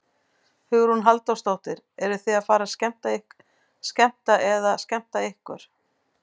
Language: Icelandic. Hugrún Halldórsdóttir: Eruð þið að fara að skemmta eða skemmta ykkur?